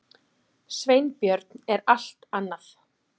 Sveinbjörn er allt annað.